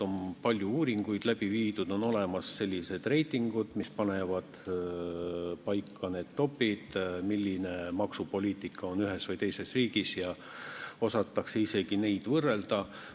On palju uuringuid tehtud, on olemas reitingud, mis panevad paika need top'id, milline maksupoliitika ühes või teises riigis on, ja osatakse isegi neid võrrelda.